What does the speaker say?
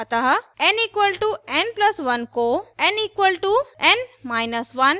अतः n = n + 1 को n = n1 से बदलें